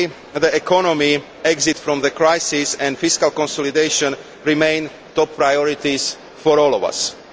Clearly, the economy, recovering from the crisis and fiscal consolidation remain top priorities for us all.